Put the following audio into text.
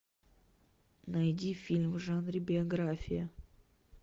найди фильм в жанре биография